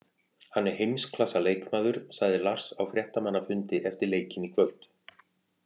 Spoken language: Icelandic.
Hann er heimsklassa leikmaður, sagði Lars á fréttamannafundi eftir leikinn í kvöld.